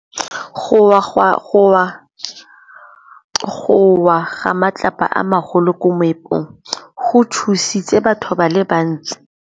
Go wa ga matlapa a magolo ko moepong go tshositse batho ba le bantsi.